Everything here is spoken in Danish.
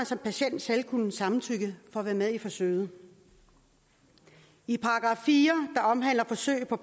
som patient selv kunne samtykke for at være med i forsøget i § fire der omhandler forsøg på